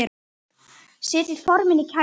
Setjið formin í kæli.